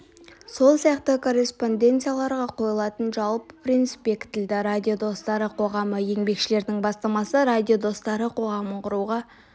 сол сияқты корреспонденцияларға қойылатын жалпы принцип бекітілді радио достары қоғамы еңбекшілердің бастамасы радио достары қоғамын құруға